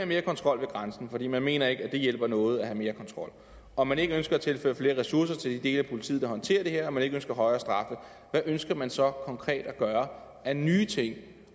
mere kontrol ved grænsen fordi man ikke mener at det hjælper noget at have mere kontrol og man ikke ønsker at tilføre flere ressourcer til de dele af politiet der håndterer det her og man ikke ønsker højere straffe hvad ønsker man så konkret at gøre af nye ting